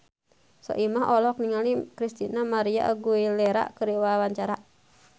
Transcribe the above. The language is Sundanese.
Soimah olohok ningali Christina María Aguilera keur diwawancara